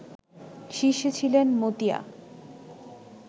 শীর্ষে ছিলেন মতিয়া